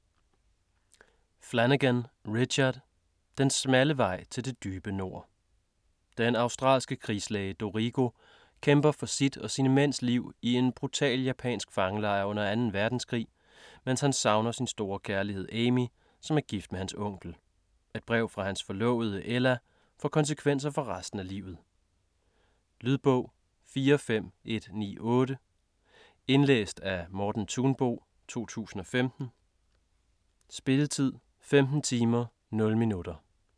Flanagan, Richard: Den smalle vej til det dybe nord Den australske krigslæge Dorrigo kæmper for sit og sine mænds liv i en brutal japansk fangelejr under 2. verdenskrig, mens han savner sin store kærlighed Amy, som er gift med hans onkel. Et brev fra hans forlovede Ella får konsekvenser for resten af livet. Lydbog 45198 Indlæst af Morten Thunbo, 2015. Spilletid: 15 timer, 0 minutter.